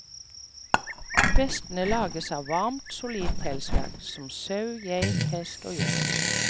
Vestene lages av varmt og solid pelsverk, som sau, geit, hest og hjort.